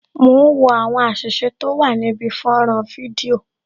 Mo ń wo àwọn àṣìṣe tó wà níbi fọ́nrán fídíò